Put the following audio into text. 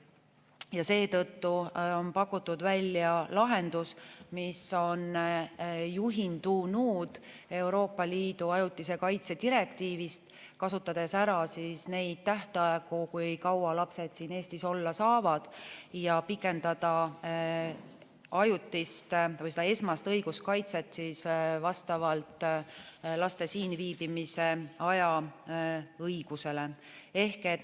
Ja seetõttu on pakutud välja lahendus, mis on juhindunud Euroopa Liidu ajutise kaitse direktiivist, kasutades ära neid tähtaegu, kui kaua lapsed siin Eestis olla saavad, ja pikendada ajutist või seda esmast õiguskaitset vastavalt laste siinviibimise aja õigusele.